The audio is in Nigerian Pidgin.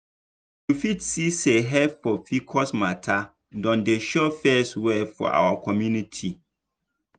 you fit see say help for pcos matter don dey show face well for our community.